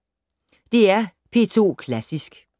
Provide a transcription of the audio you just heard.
DR P2 Klassisk